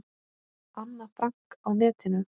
Anna Frank á netinu.